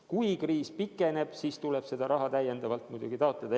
Kui kriis pikeneb, siis tuleb raha muidugi juurde taotleda.